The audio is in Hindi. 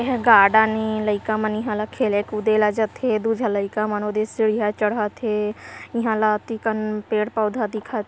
गार्डन इ लइका मनी हेला खेले कुदेला जतेह दु गो लइका --